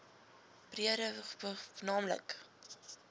breede wbg naamlik